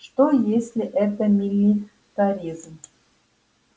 что если это милитаризм